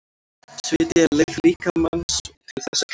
Sviti er leið líkamans til þess að kæla sig.